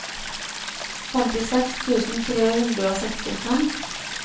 femtiseks tusen tre hundre og sekstifem